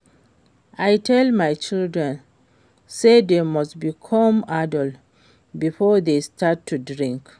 I tell my children say dey must become adult before dey start to drink